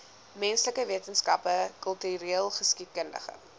menslike wetenskappe kultureelgeskiedkundige